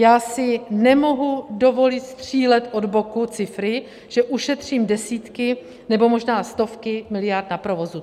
Já si nemohu dovolit střílet od boku cifry, že ušetřím desítky nebo možná stovky miliard na provozu.